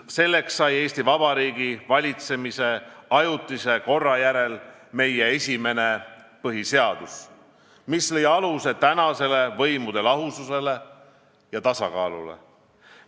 Selleks sai Eesti Vabariigi valitsemise ajutise korra järel meie esimene põhiseadus, mis lõi aluse nüüdsele võimude lahususele ja tasakaalule.